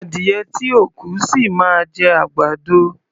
Adìyẹ tí ò kú, ṣì máa jẹ àgbàdo.